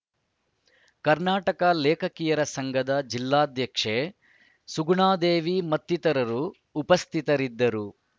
ಕರ್ನಾಟಕ ಲೇಖಕಿಯರ ಸಂಘದ ಜಿಲ್ಲಾಧ್ಯಕ್ಷೆ ಸುಗುಣಾದೇವಿ ಮತ್ತಿತರರು ಉಪಸ್ಥಿತರಿದ್ದರು